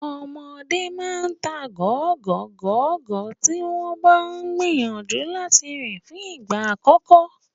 Ọmọdé máa ta gọ̀gọ́gọ̀gọ́ tí wọ́n bá ń gìyànjú láti rìn fún ìgbà àkọ́kọ́.